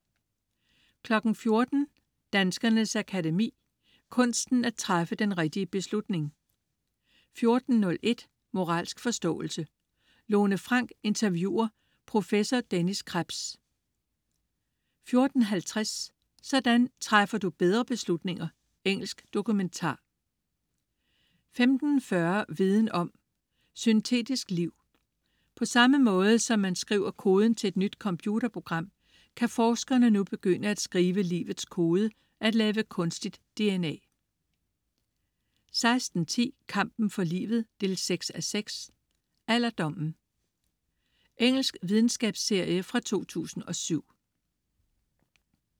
14.00 Danskernes Akademi: Kunsten at træffe den rigtige beslutning 14.01 Moralsk forståelse. Lone Frank interviewer prof. Dennis Krebs 14.50 Sådan træffer du bedre beslutninger. Engelsk dokumentar 15.40 Viden om: Syntetisk liv. På samme måde som man skriver koden til et nyt computerprogram, kan forskerne nu begynde at skrive livets kode: at lave kunstigt dna 16.10 Kampen for livet 6:6. Alderdommen. Engelsk videnskabsserie fra 2007